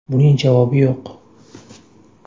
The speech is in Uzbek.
Buning javobi yo‘q.